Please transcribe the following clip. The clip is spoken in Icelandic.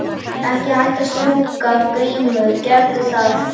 Ekki hætta að strjúka Grímur gerðu það.